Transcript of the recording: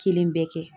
Kelen bɛɛ kɛ